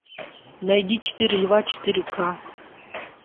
найди четыре льва четыре ка